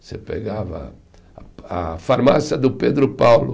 Você pegava a farmácia do Pedro Paulo.